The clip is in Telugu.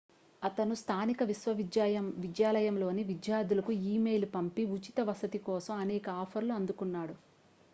అతను స్థానిక విశ్వవిద్యాలయంలోని విద్యార్థులకు ఇమెయిల్ పంపి ఉచిత వసతి కోసం అనేక ఆఫర్లను అందుకున్నాడు